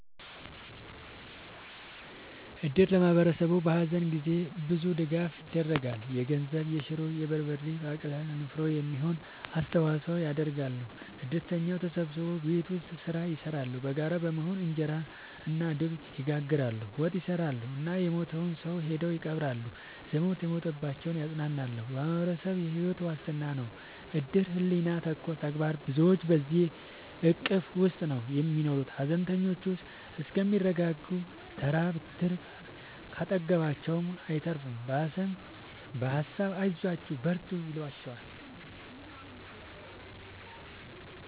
እድር ለማህበረሰቡ በሀዘን ጊዜ ብዙ ድጋፍ ይደረጋል። የገንዘብ፣ የሹሮ፣ የበርበሬ ባቄላ ለንፍሮ የሚሆን አስተዋጽኦ ያደርጋሉ። እድርተኛው ተሰብስቦ ቤት ውስጥ ስራ ይሰራሉ በጋራ በመሆን እንጀራ እና ድብ ይጋግራሉ፣ ወጥ ይሰራሉ እና የሞተውን ሰው ሄደው ይቀብራሉ። ዘመድ የሞተባቸውን ያፅናናሉ በማህበረሰቡ የሕይወት ዋስትና ነው እድር ሕሊና ተኮር ተግባር ብዙዎች በዚሕ እቅፍ ውስጥ ነው የሚኖሩት ሀዘነተኞቹ እስከሚረጋጉ ተራ ብትር ካጠገባቸው አይጠፍም በሀሳብ አይዟችሁ በርቱ ይሏቸዋል።